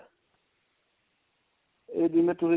ਜਿਵੇਂ ਤੁਸੀਂ